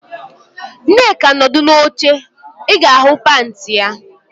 Nneka nọdụ n'oche, ị ga-ahụ panti ya